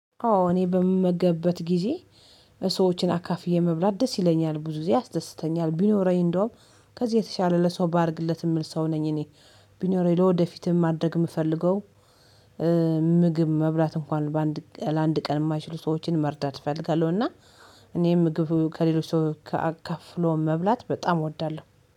አዎ እኔ በምመገብበት ጊዜ ሰዎችን አካፍዬ መብላት ደስ ይለኛል፤ ብዙ ጊዜ ያስደስተኛል ቢኖረኝ እንደውም ከዚህ የተሻለ ለሰው ባደርግለት የምል ሰው ነኝ እኔ፤ ቢኖረኝ ለወደፊትም ማድረግ የምፈልገው መብላት እንኳን ለአንድ ቀን የማይችሉ ሰዎችን መርዳት እፈልጋለሁ እና እኔም ምግብ ከሌሎች ሰው ካከፍሎ መብላት በጣም እወዳለሁ።